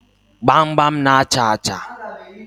Gbamgbam na-achà achà.